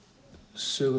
sögu